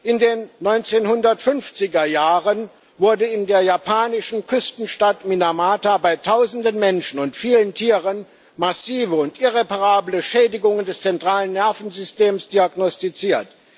In den 1950er Jahren wurden in der japanischen Küstenstadt Minamata bei tausenden Menschen und vielen Tieren massive und irreparable Schädigungen des zentralen Nervensystems diagnostiziert.